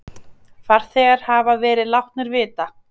Farþegar hafa verið látnir vita.